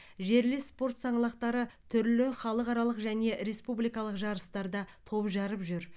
жерлес спорт саңлақтары түрлі халықаралық және республикалық жарыстарда топ жарып жүр